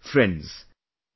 Friends,